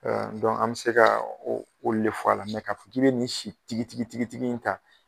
Dɔnku an bɛ se ka olu de fɔ a la, mɛ k'a fɔ k'i bɛ ni si tigi tigi in ta.